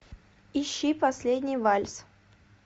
ищи последний вальс